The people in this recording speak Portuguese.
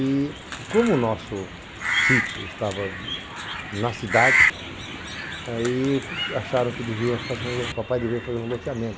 E como o nosso sítio estava na cidade, aí acharam que o papai devia fazer um loteamento.